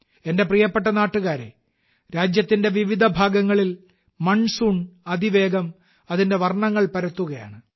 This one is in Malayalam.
എന്റെ പ്രിയപ്പെട്ട നാട്ടുകാരെ രാജ്യത്തിന്റെ വിവിധ ഭാഗങ്ങളിൽ മൺസൂൺ അതിവേഗം അതിന്റെ വർണ്ണങ്ങൾ പരത്തുകയാണ്